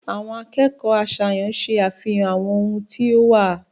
Àwọn akojọ aṣayan ṣe afihan àwọn ohun ti o wa.